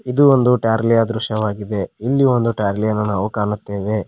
ಇದು ಒಂದು ಟಾರ್ಲಿಯ ದೃಶ್ಯವಾಗಿದೆ ಇಲ್ಲಿ ಒಂದು ಟಾರ್ಲಿಯನ್ನು ನಾವು ಕಾಣುತ್ತೇವೆ.